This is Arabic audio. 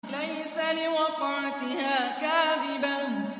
لَيْسَ لِوَقْعَتِهَا كَاذِبَةٌ